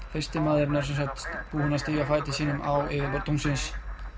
fyrsti maðurinn sem sagt búinn að stíga fæti sínum á yfirborð tunglsins